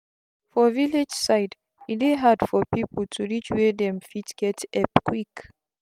for village side e dey hard for pipu to reach were dem fit get epp quick